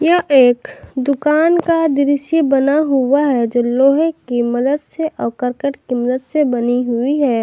यह एक दुकान का दृश्य बना हुआ है जो लोहे की मदद से और करकट की मदद से बनी हुई है।